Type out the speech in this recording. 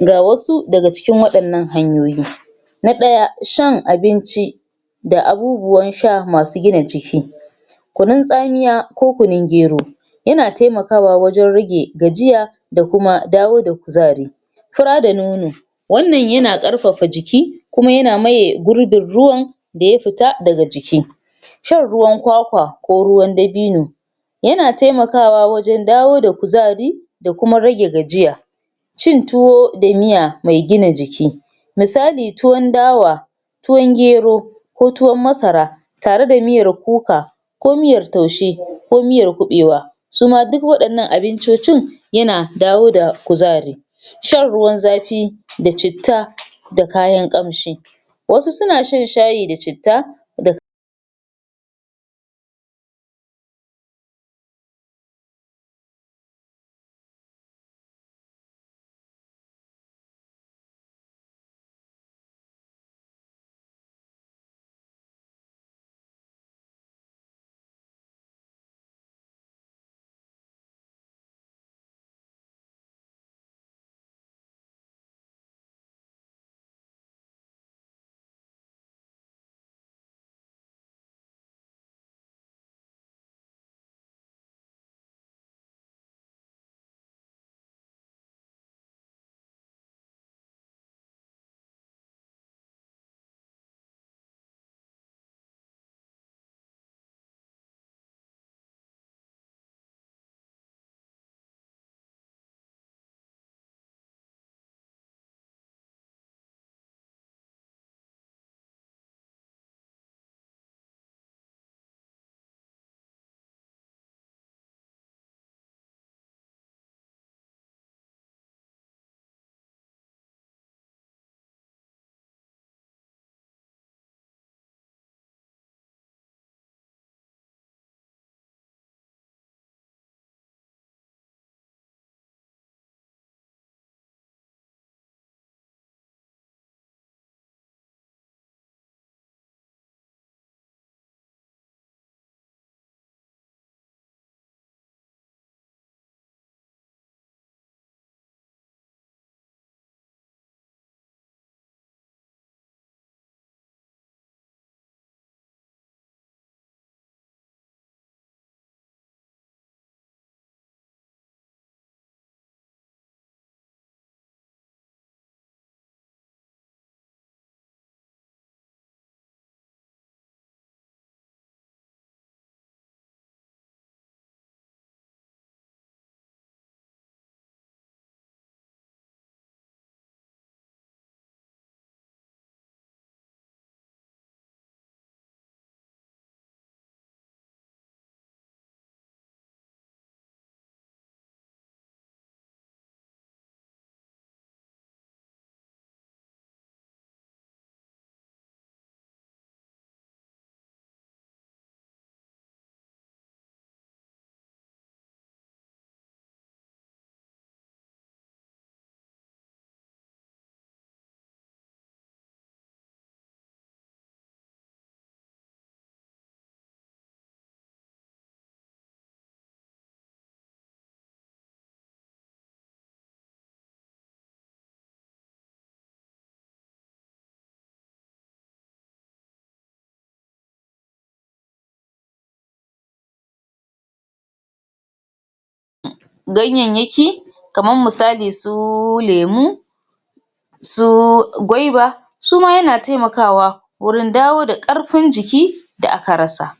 ga wasu daga cikin waɗannan hanyoyi: Na ɗaya shan abinci da abubuwan sha masu gina jiki, kunun tsamiya ko kunun gero, yana temakawa wajen rage gajiya da kuma dawo da kuzari, fura da nono wannan yana ƙarfafa jiki, kuma yana maye gurbin ruwan da ya fita daga jiki, shan ruwan kwakwa ko ruwan dabino yana taimakawa wajen dawo da kuzari da kuma rage gajiya, cin tuwo da miya mai gina jiki misali tuwon dawa, tuwon gero, ko tuwon masara tare da miyar kuka, ko miyar taushe, ko miyar kuɓewa, suma duk waɗannan abincocin yana dawo da kuzari, shan ruwan zafi da citta da kayan ƙamshi, wasu suna shan shayi da citta da ganyanyaki kaman misali su lemu, su gwaiba, suma yana temakawa wurin dawo da ƙarfin jiki da aka rasa.